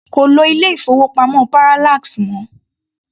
Kò lo ilé-ìfowópamọ́ Parallax mọ́.